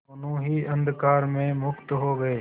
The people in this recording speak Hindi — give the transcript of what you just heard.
दोेनों ही अंधकार में मुक्त हो गए